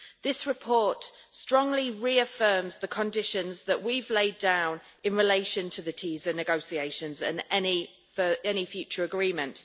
This report strongly reaffirms the conditions that we have laid down in relation to the TiSA negotiations and any future agreement.